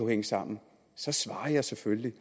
hænge sammen så svarer jeg selvfølgelig